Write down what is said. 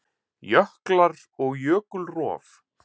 Jöklar og jökulrof